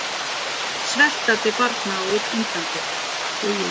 Sveltandi barna á Indlandi!